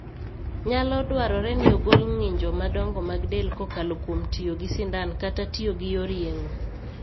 Nyalo dwarore ni ogol ng'injo madongo mag del kokalo kuom tiyo gi sindan kata tiyo gi yor yeng'o.